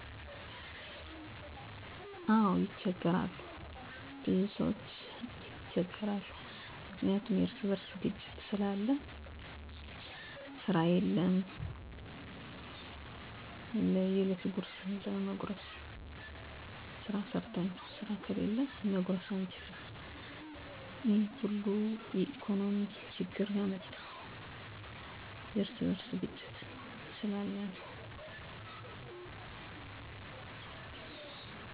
አዎን፣ በብዙ ማህበረሰቦች ውስጥ መስተካከል ያስፈልጋቸው ተግዳሮቶች አሉ፤ እነሱም ብዙ ጊዜ እርስ በእርስ የተያያዙ ናቸው። ከተለመዱት መካከል እነዚህን መጥቀስ ይቻላል፦ 1) የኢኮኖሚ ችግኝ (ስራ እጥረት፣ ውድነት): ብዙ ቤተሰቦች ዕለታዊ ኑሮን ለመሸከም ይቸገራሉ። መፍትሄ: የሙያ ስልጠና ማስፋፋት፣ አነስተኛ ንግድን መደገፍ፣ የወጣቶች የስራ እድል ፕሮግራሞችን ማበርታት። 2) የትምህርት ጥራት እና ተደራሽነት: ትምህርት ቢኖርም ጥራቱ ወይም መድረሱ ሊያንስ ይችላል። መፍትሄ: መምህራንን መደገፍ፣ ት/ቤቶችን መሻሻል፣ ወላጆችን በትምህርት ሂደት ማካተት። 3) የማህበራዊ ግንኙነት ድክመት (እርስ በእርስ እምነት እጥረት): መግባባት ሲቀንስ ችግኝ ይጨምራል። መፍትሄ: የውይይት መድረኮች፣ የማህበረሰብ ተግባራት (ንፅህና፣ ርዳታ) መደገፍ፣ የሽማግሌዎችና የወጣቶች ተሳትፎን ማጠናከር።